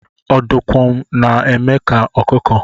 Ọdọkụma na-eme ka ọkụkọ.